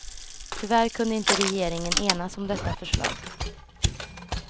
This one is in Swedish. Tyvärr kunde inte regeringen enas om detta förslag.